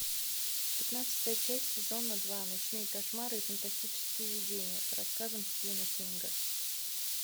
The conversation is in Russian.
пятнадцатая часть сезона два ночные кошмары и фантастические видения по рассказам стивена кинга